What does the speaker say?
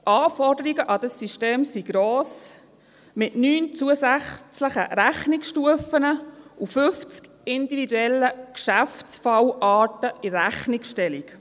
Die Anforderungen an dieses System sind hoch, mit 9 zusätzlichen Rechnungsstufen und 50 individuellen Geschäftsfallarten in der Rechnungsstellung.